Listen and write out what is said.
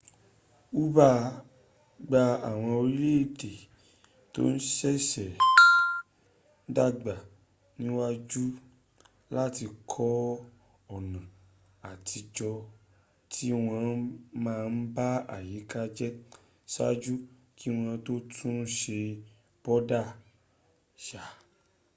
hu gba àwọn orílẹ̀èdè tó sẹ̀sẹ̀ ń dàgbà níyànjú láti kọ ọ̀nà àtijọ́ tí wọ́n má ń ba àyíká jẹ́ saájú kí wọ́n tó tún un se bóbá yá.